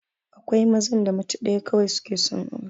Akwai mazan da mace ɗaya kawai suke son aura